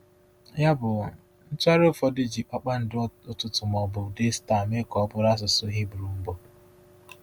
Yabụ, ntụgharị ụfọdụ ji “kpakpando ụtụtụ” ma ọ bụ “Daystar” mee ka ọ bụrụ asụsụ Hibru mbụ.